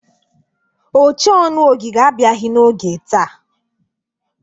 Ochee ọnụ ogige abiaghị n'oge taa.